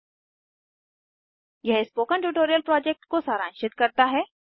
httpspoken tutorialorgWhat is a Spoken tutorial यह spoken tutorial project को सारांशित करता है